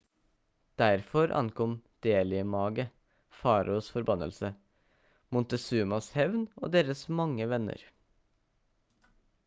derfor ankom delhi-mage faraos forbannelse montezumas hevn og deres mange venner